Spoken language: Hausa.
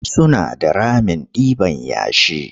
Suna da ramin ɗiban yashi.